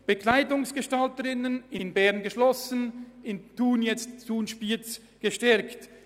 Auch die Ausbildung zur Bekleidungsgestalterin wurde in Bern geschlossen und in Thun/ Spiez gestärkt.